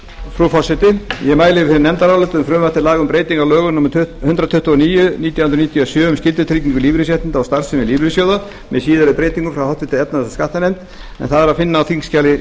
frá háttvirtri efnahags og skattanefnd um frumvarp til laga um breyting á lögum númer hundrað tuttugu og níu nítján hundruð níutíu og sjö um skyldutryggingu lífeyrisréttinda og starfsemi lífeyrissjóða með síðari breytingum en það er að finna á þingskjali